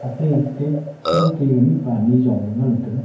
ate ke thao ke mihpa nyi jong ley ngan taiga.